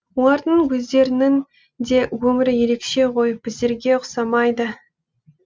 олардың өздерінің де өмірі ерекше ғой біздерге ұқсамайды